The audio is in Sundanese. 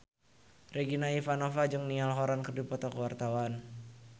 Regina Ivanova jeung Niall Horran keur dipoto ku wartawan